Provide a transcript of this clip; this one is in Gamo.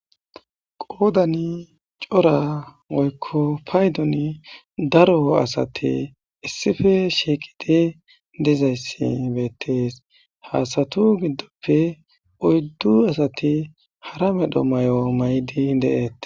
Qodani cora woyko paydon daro asati issipe shiiqidi dizaysi betes ha asatu gidope oydu asati hara medho mayo mayidi de'etse